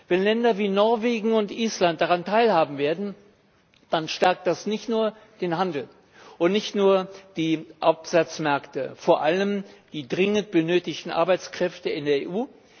Wenn Länder wie Norwegen und Island daran teilhaben werden, dann stärkt das nicht nur den Handel und nicht nur die Absatzmärkte, sondern vor allem die dringend benötigten Arbeitskräfte in der EU.